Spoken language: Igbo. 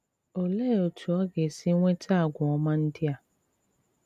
Òlee otú ọ ga-èsì nweta àgwà òma ndị à?